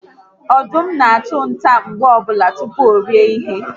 Ọdụm na achu nta mgbe ọbụla tupu orie ihe